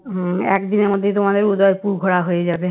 হম একদিনের মধ্যেই তোমাদের উদয়পুর ঘোরা হয়ে যাবে